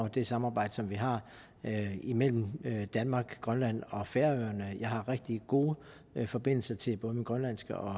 at det samarbejde som vi har imellem danmark grønland og færøerne jeg har rigtig gode forbindelser til både min grønlandsk og